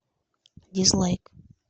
дизлайк